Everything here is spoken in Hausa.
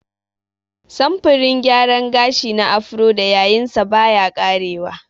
Samfurin gyaran gashi na Afro da yayinsa baya ƙarewa.